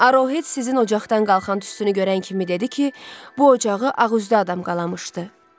Arohed sizin ocaqdan qalxan tüstünü görən kimi dedi ki, bu ocağı ağüzlü adam qalamışdı.